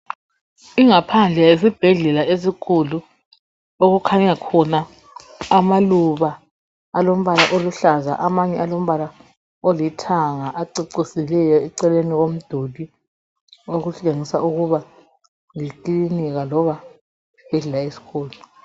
Ingaphandle yesibhedlela esikhulu okukhanya khona amaluba alombala oluhlaza amanye alombala oluhlaza amanye alombala olithanga acecisileyo eceleni komduli . Okutshengisa ukuba Yi klinika loba isibhedlela esikhulu.